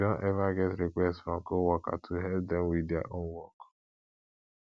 you don ever get request from coworker to help dem with dia own work